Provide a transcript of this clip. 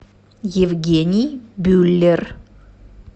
евгений бюллер